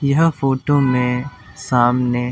'यह फोटो में सामने'--